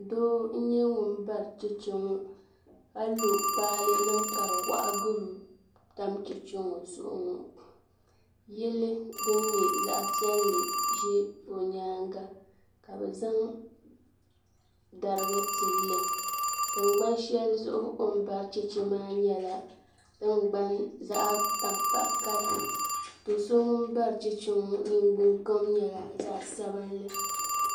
Doo n nyɛ ŋun bari chɛchɛ ŋɔ ka lo kpaale nima ka di waɣa gari o ni tam chɛchɛ ŋɔ zuɣu ŋɔ yili din nyɛ zaɣa piɛlli ʒe o nyaanga ka bɛ zaŋ dariga n tilili tingbani shɛli zuɣu o ni bari chɛchɛ maa nyɛla tingbani zaɣa tankpaɣu kala do'so ŋun bari chɛchɛ ŋɔ ningbiŋ kam nyɛla zaɣa sabinli.